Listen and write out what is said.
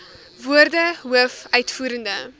woorde hoof uitvoerende